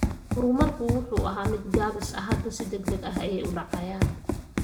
Horumarku wuxuu ahaa mid gaabis ah. Hadda si degdeg ah ayay u dhacayaan.